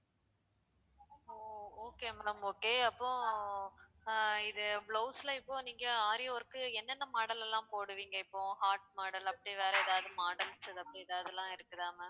ஓ okay ma'am okay அப்போ ஆஹ் இது blouse ல இப்போ நீங்க aari work உ என்னென்ன model எல்லாம் போடுவீங்க இப்போ heart model அப்படி வேற ஏதாவது model அப்படி ஏதாவது எல்லாம் இருக்குதா ma'am